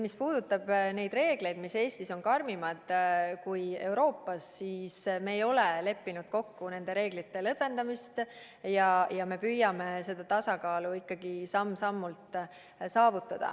Mis puudutab neid reegleid, mis on Eestis karmimad kui Euroopas, siis me ei ole leppinud kokku nende reeglite lõdvendamises ja me püüame seda tasakaalu ikkagi samm-sammult saavutada.